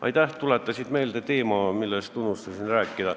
Aitäh, et tuletasid meelde teema, millest ma unustasin rääkida.